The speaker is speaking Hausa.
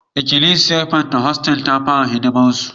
Ikilisiyar Pentikostal sun fara hidimarsu